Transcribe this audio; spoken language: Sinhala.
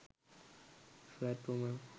fat woman